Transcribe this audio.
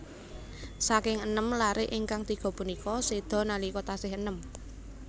Saking enem laré ingkang tiga punika séda nalika tasih enèm